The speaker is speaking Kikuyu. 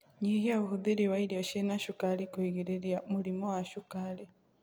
Nyihia ũhũthĩri wa irio ciĩna cukari kuigiririrĩa Mũrimũ wa cukari